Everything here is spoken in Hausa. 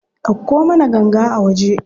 Ɗauko mana ganga a waje.